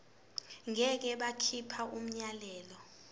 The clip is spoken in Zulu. ngeke bakhipha umyalelo